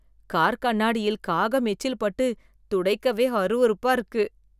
car கண்ணாடியில் காகம் எச்சில் பட்டு துடைக்கவே அருவருப்பா இருக்கு